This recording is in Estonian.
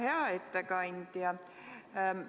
Hea ettekandja!